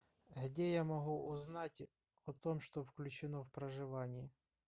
где я могу узнать о том что включено в проживание